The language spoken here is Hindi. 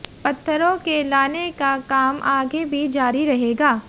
पत्थरों के लाने का काम आगे भी जारी रहेगा